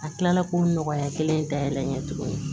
A kilala k'o nɔgɔya kelen dayɛlɛ n ye tuguni